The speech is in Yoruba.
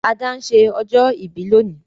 Ada n se ọjọ́ ìbí lónìí